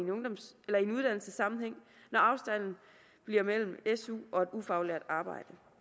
en uddannelsessammenhæng når afstanden bliver mellem su og et ufaglært arbejde